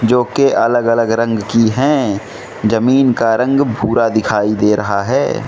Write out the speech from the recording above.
जो के अलग अलग रंग की हैं जमीन का रंग भूरा दिखाई दे रहा है।